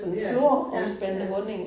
Ja, ja ja